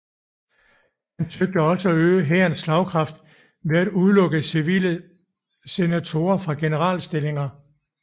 Han søgte også at øge hærens slagkraft ved at udelukke civile senatorer fra generalstillinger